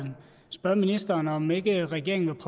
spørge ministeren om ikke regeringen vil